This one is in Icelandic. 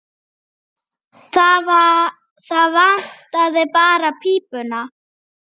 Það vantaði bara pípuna.